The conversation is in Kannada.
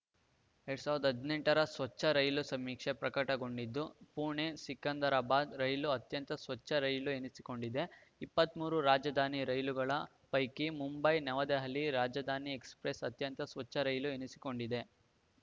ಎರಡ್ ಸಾವಿರದ ಹದಿನೆಂಟ ರ ಸ್ವಚ್ಛ ರೈಲು ಸಮೀಕ್ಷೆ ಪ್ರಕಟಗೊಂಡಿದ್ದು ಪುಣೆ ಸಿಕಂದರಾಬಾದ್‌ ರೈಲು ಅತ್ಯಂತ ಸ್ವಚ್ಛ ರೈಲು ಎನಿಸಿಕೊಂಡಿದೆ ಇಪ್ಪತ್ತ್ ಮೂರು ರಾಜಧಾನಿ ರೈಲುಗಳ ಪೈಕಿ ಮುಂಬೈ ನವದೆಹಲಿ ರಾಜಧಾನಿ ಎಕ್ಸ್‌ಪ್ರೆಸ್‌ ಅತ್ಯಂತ ಸ್ವಚ್ಛ ರೈಲು ಎನಿಸಿಕೊಂಡಿದೆ